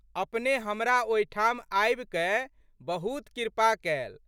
अपने हमरा ओहिठाम आबिकए बहुत कृपा कैल।